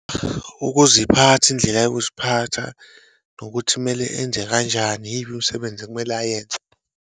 Ukuziphatha, indlela yokuziphatha, nokuthi kumele enze kanjani, iyiphi imisebenzi ekumele ayenze.